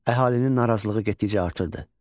Əhalinin narazılığı getdikcə artırdı.